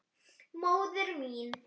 Móðir mín.